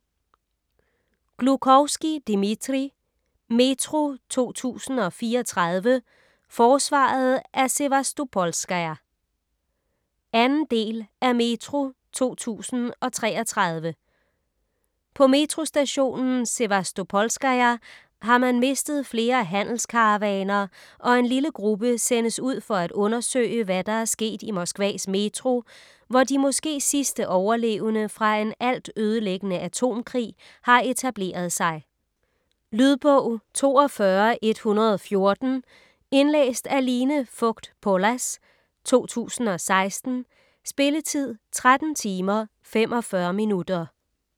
Gluchovskij, Dmitrij: Metro 2034: forsvaret af Sevastopolskaja 2. del af Metro 2033. På Metrostationen Sevastopolskaja har man mistet flere handelskaravaner, og en lille gruppe sendes ud for at undersøge, hvad der er sket i Moskvas Metro, hvor de måske sidste overlevende fra en altødelæggende atomkrig har etableret sig. . Lydbog 42114 Indlæst af Line Fogt Pollas, 2016. Spilletid: 13 timer, 45 minutter.